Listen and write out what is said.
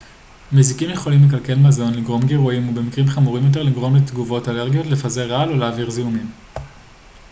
מזיקים יכולים לקלקל מזון לגרום גירויים או במקרים חמורים יותר לגרום לתגובות אלרגיות לפזר רעל או להעביר זיהומים